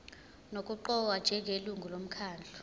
nokuqokwa njengelungu lomkhandlu